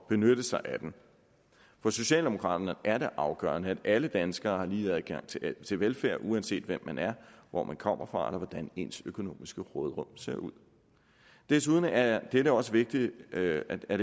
benytte sig af den for socialdemokraterne er det afgørende at alle danskere har lige adgang til til velfærd uanset hvem man er hvor man kommer fra eller hvordan ens økonomiske råderum ser ud desuden er det det også vigtigt at at